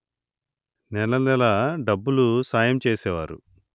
నెలనెలా డబ్బులు సాయము చేసేవారు